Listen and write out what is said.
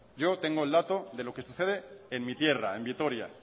yo tengo el dato de los que sucede en mi tierra en vitoria